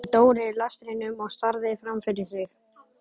Hérna hætti Dóri lestrinum og starði fram fyrir sig.